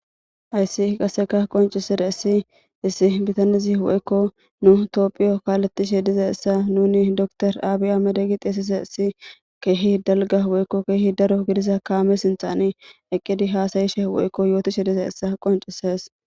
ayssi qaseka qonciseda issi issi bitanizi woykko nu toophiyo kaalettishe diza issa nuni doktor aabi amedegi xiesise issi keehi dalga woykko keehi daro gidisa kaame sinxani eqqedi haasayishe woykko yootishe diza issa qoncises